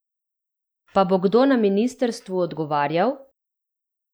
Pa bo kdo na ministrstvu odgovarjal?